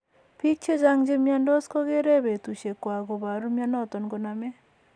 Pik chechang che miondos kogere petusiek guak koporu mionoton konome.